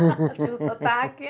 Tinha o sotaque.